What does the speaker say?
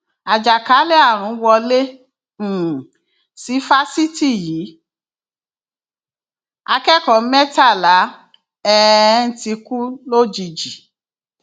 àjàkálẹ àrùn wọlé um sí fásitì yìí akẹkọọ mẹtàlá um ti kú lójijì